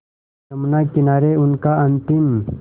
यमुना किनारे उनका अंतिम